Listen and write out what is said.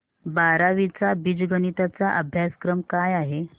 बारावी चा बीजगणिता चा अभ्यासक्रम काय आहे